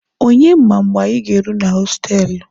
Onye ma mgbe anyi ga-agaru na hostelụ.